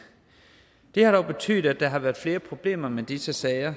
har dog betydet at der har været flere problemer med disse sager